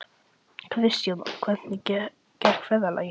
Kristjana, hvernig gekk ferðalagið?